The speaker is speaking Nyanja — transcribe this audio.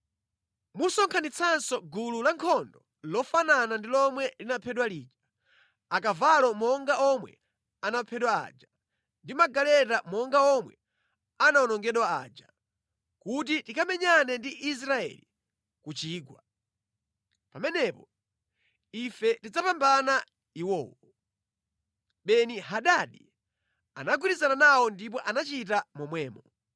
Musonkhanitsenso gulu lankhondo lofanana ndi lomwe linaphedwa lija, akavalo monga omwe anaphedwa aja, ndi magaleta monga omwe anawonongedwa aja, kuti tikamenyane ndi Israeli ku chigwa. Pamenepo, ife tidzapambana iwowo.” Beni-Hadadi anagwirizana nawo ndipo anachita momwemo.